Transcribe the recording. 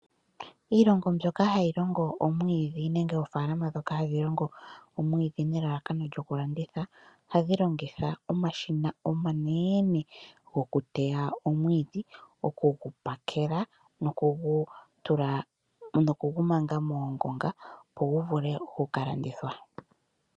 Iilongo mboka hayi longo omwiidhi nenege oofalama dhoka hadhi longo omwiidhi nelalakano lyokulanditha ohadhi longitha omashina omanene gokuteya omwiidhi okugupakela nokugumanga moongunga opo guvule okukalandithwa.